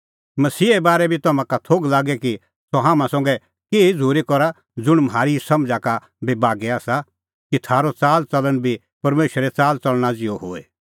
मसीहे बारै बी तम्हां का थोघ लागे कि सह हाम्हां संघै केही झ़ूरी करा ज़ुंण म्हारी समझ़ा का बी बागै आसा कि थारअ च़ालच़लण बी परमेशरे च़ालच़लणा ज़िहअ होए